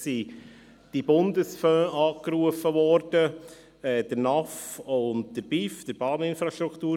Es wurden die Bundesfonds – NAF und BIF – angerufen.